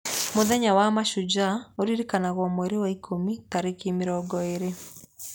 Mũthenya wa Mashujaa ũririkanagwo mweri wa Ikũmi tarĩki mĩrongo ĩĩrĩ.